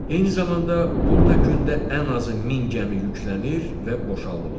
Eyni zamanda burda gündə ən azı min gəmi yüklənir və boşaldılır.